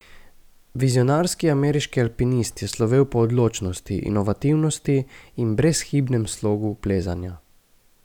Vizionarski ameriški alpinist je slovel po odločnosti, inovativnosti in brezhibnem slogu plezanja.